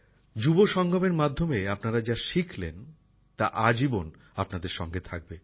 যুবা সঙ্গমের মাধ্যমে আপনারা যা শিখলেন তা আজীবন আপনাদের সঙ্গে থাকবে